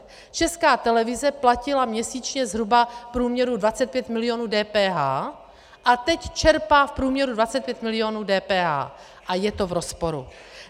Česká televize platila měsíčně zhruba v průměru 25 milionů DPH a teď čerpá v průměru 25 milionů DPH a je to v rozporu.